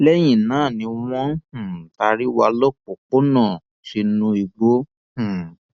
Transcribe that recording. lẹyìn náà ni wọn um taari wa lọpọnpọnọn lọ sínú igbó um